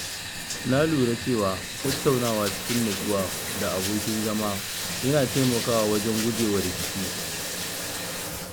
Na lura cewa tattaunawa cikin natsuwa da abokin zama yana taimakawa wajen guje wa rikici.